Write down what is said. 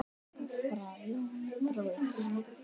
Frá Jóni bróður þínum.